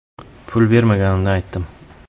Pul bermaganimni aytdim.